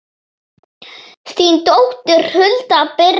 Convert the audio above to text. þín dóttir, Hulda Birna.